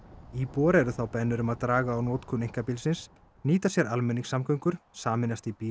íbúar eru þá beðnir um að draga úr notkun einkabílsins nýta sér almenningssamgöngur sameinast í bíla